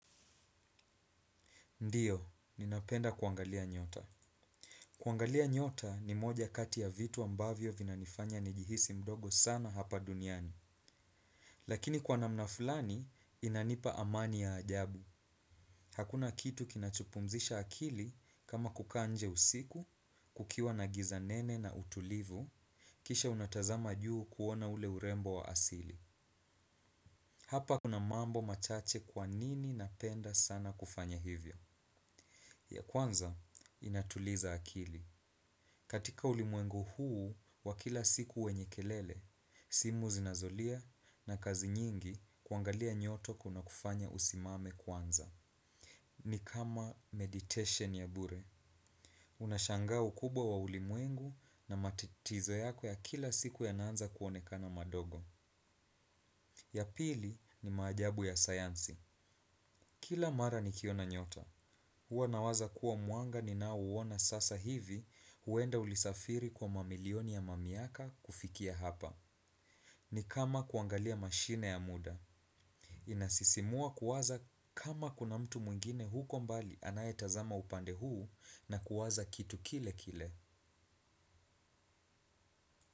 Ndiyo, ninapenda kuangalia nyota. Kuangalia nyota ni moja kati ya vitu ambavyo vinanifanya nijihisi mdogo sana hapa duniani. Lakini kwa namna fulani, inanipa amani ya ajabu. Hakuna kitu kinachopumzisha akili kama kukaa nje usiku, kukiwa na giza nene na utulivu, kisha unatazama juu kuona ule urembo wa asili. Hapa kuna mambo machache kwa nini napenda sana kufanya hivyo. Ya kwanza, inatuliza akili. Katika ulimwengu huu wa kila siku wenye kelele, simu zinazolia na kazi nyingi kuangalia nyota kuna kufanya usimame kwanza. Ni kama meditation ya bure. Unashanga ukubwa wa ulimwengu na matatizo yako ya kila siku yanaanza kuonekana madogo. Ya pili ni maajabu ya sayansi. Kila mara nikiona nyota. Huwa nawaza kuwa mwanga ninauona sasa hivi huenda ulisafiri kwa mamilioni ya mamiaka kufikia hapa. Ni kama kuangalia mashine ya muda. Inasisimua kuwaza kama kuna mtu mwingine huko mbali anayetazama upande huu na kuwaza kitu kile kile.